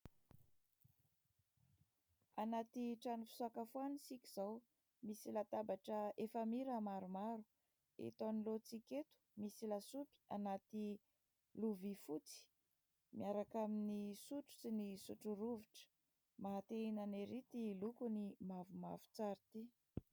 Anaty trano fisakafoanana isika izao ; misy latabatra efamira maromaro. Eto anoloantsika eto misy lasopy anaty lovia fotsy , miaraka amin'ny sotro sy ny sotro rovitra ; maha te hinana ery ity lokony mavomavo tsara ity.